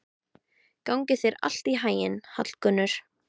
Gangi þér allt í haginn, Hallgunnur.